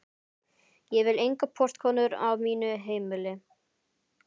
Ég vil engar portkonur á mínu heimili.